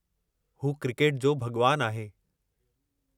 हू 'क्रिकेट जो भॻवानु' आहे।